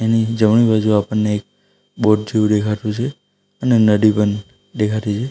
એની જમણી બાજુ આપણને એક બોટ જેવું ડેખાતું છે અને નડી પન ડેખાતી છે.